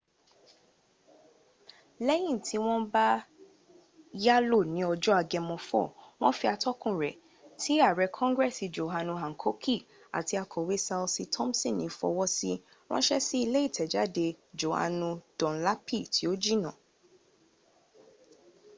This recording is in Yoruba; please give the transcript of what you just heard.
lẹ́yìn tí wọ́n bá yálò ní ọjọ́ agemo 4 wọn fi atọ́kùnwò rẹ̀ ti àrẹ kongresi johanu hankoki àti akọ̀we ṣalsi tomsini fọwọ́sí ránṣẹ́ sí ilé ìtẹ̀jáde johanu dunlapi tí ò jìnà